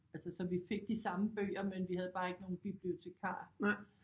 Altså så vi fik de samme bøger men vi havde bare ikke nogen bibliotekar